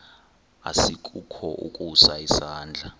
asikukho ukusa isandla